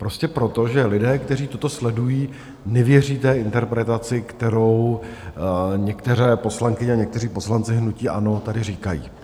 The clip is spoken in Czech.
Prostě proto, že lidé, kteří toto sledují, nevěří té interpretaci, kterou některé poslankyně a někteří poslanci hnutí ANO tady říkají.